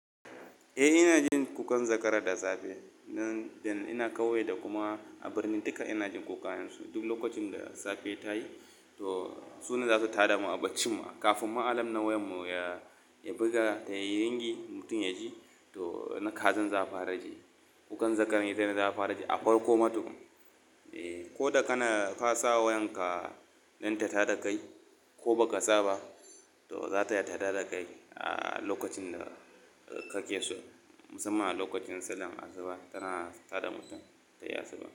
Eh, ina jin kukan zakara da safe idan ina ƙauye da kuma a birni duka ina jin kukan su. Duk lokacin da safe ta yi to su ne za su tada mu a baccin ma kafin ma alarm na wayan mu ya buga ta yi ringi mutum ya ji to na kazan za a fara ji. Kukan zakaran ita ne za a fara ji a farko matu. Ko da kana ka sa wayan ka don ta tada kai ko baka sa ba to za ta yi tada da kai a lokacin da ka ke so musamman a lokacin sallan asuba tana tada mutum tayi asuba.